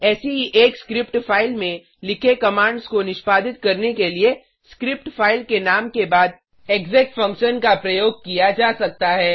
ऐसी ही एक स्क्रिप्ट फाइल में लिखे कमांड्स को निष्पादित करने के लिए स्क्रिप्ट फाइल के नाम के बाद एक्सेक फंक्शन का प्रयोग किया जा सकता है